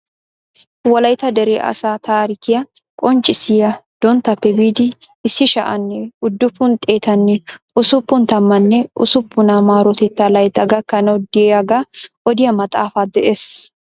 Wolaytta dere asaa tarikkiyaa qonccissiyaa donttappe biidi issi sha'anne uddupun xeetanne ussuppun tammanne ussupuna maarotetta laytta gakanaaw de'iyaaga odiyaa maxaafa de'ees.